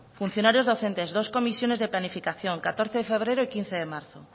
funcionarios docentes dos comisiones de planificación catorce de febrero y quince de marzo